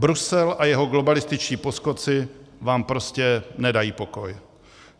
Brusel a jeho globalističtí poskoci vám prostě nedají pokoj.